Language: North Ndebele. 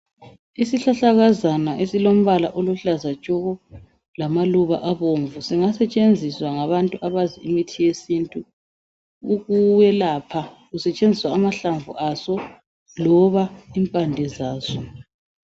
Isihlahlakazana esilompala oluhlazatshoko lamaluba abomvu singasetshenziswa ngabantu abazi imithi yesintu ukwelapha kusetshenziswa amahlamvu aso loba impande zaso.